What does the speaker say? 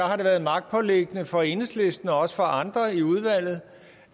har været magtpåliggende for enhedslisten og også for andre i udvalget